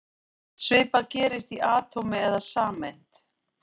Svipað gerist í atómi eða sameind.